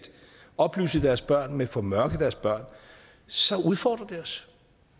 oplyse deres børn men formørke deres børn så udfordrer det os